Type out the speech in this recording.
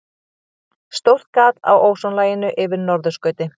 Stórt gat á ósonlaginu yfir norðurskauti